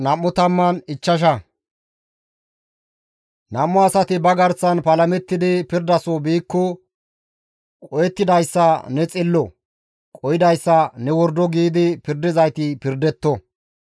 Nam7u asati ba garsan palamettidi pirdaso biikko qohettidayssa ne xillo; qohidayssa, «Ne wordo» giidi pirdizayti pirdetto.